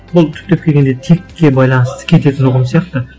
бұл түптеп келгенде текке байланысты кететін ұғым сияқты